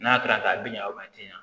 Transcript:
N'a kɛra ten a bɛ ɲɛ o ma tiɲɛ